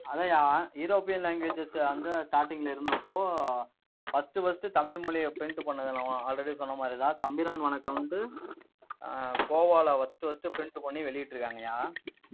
அதான்யா, european languages அந்த starting ல இருந்தப்போ, first first தமிழ் மொழிய, print பண்ணது நாம already சொன்ன மாதிரிதான். தம்பிரான் வணக்கம் வந்து கோவால, first first print பண்ணி வெளியிட்டிருக்காங்கய்யா.